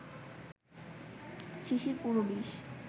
শিশির পুরো বিষ